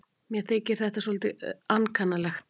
Mér þykir þetta svolítið ankannalegt.